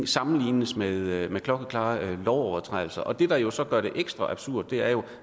sammenlignes med klokkeklare lovovertrædelser og det der jo så gør det ekstra absurd er jo